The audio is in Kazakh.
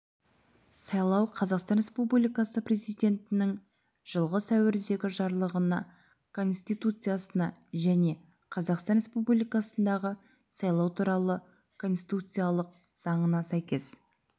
сайлау қазақстан республикасы президентінің жылғы сәуірдегі жарлығына конституциясына және қазақстан республикасындағы сайлау туралы конституциялық заңына сәйкес